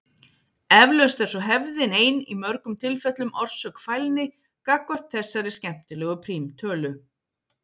Eflaust er svo hefðin ein í mörgum tilfellum orsök fælni gagnvart þessari skemmtilegu prímtölu.